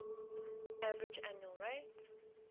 average annual rate